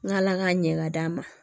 N ka ala ka ɲɛ ka d'a ma